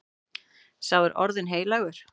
Sá er orðinn heilagur.